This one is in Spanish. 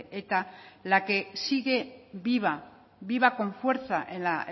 eta la que sigue viva viva con fuerza en la